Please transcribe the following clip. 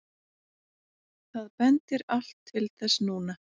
Það bendir allt til þess núna.